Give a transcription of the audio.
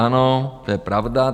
Ano, to je pravda.